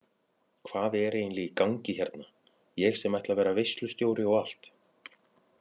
Hvað er eiginlega í gangi hérna ég sem ætla að vera veislustjóri og allt.